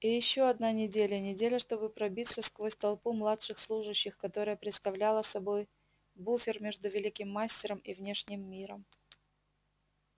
и ещё одна неделя неделя чтобы пробиться сквозь толпу младших служащих которая представляла собой буфер между великим мастером и внешним миром